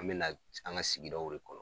An bɛ lat an ka sigi daw de kɔnɔ.